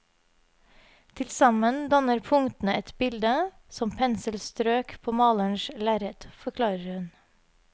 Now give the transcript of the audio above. Tilsammen danner punktene et bilde, som penselstrøk på malerens lerret, forklarer hun.